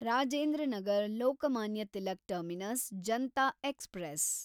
Rajendra Nagar Lokmanya Tilak terminus Janta express